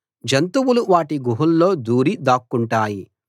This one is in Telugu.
జంతువులు వాటి గుహల్లో దూరి దాక్కుంటాయి